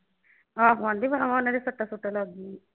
ਆਹੋ ਆਂਹਦੀ ਵਾਹ ਵਾਹ ਉਨ੍ਹਾਂ ਦੇ ਸੱਟਾਂ ਸੁੱਟਾਂ ਲੱਗ ਗਈਆਂ।